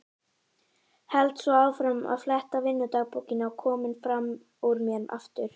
Held svo áfram að fletta vinnudagbókinni og kominn fram úr mér aftur.